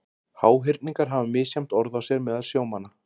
Háhyrningar hafa misjafnt orð á sér meðal sjómanna.